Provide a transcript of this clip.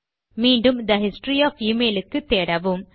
மீண்டும் the history of email க்கு தேடவும்